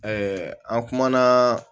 an kumana